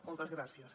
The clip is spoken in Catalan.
moltes gràcies